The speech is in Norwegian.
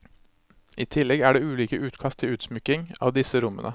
I tillegg er det ulike utkast til utsmykking av disse rommene.